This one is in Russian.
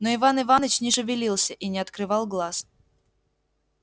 но иван иваныч не шевелился и не открывал глаз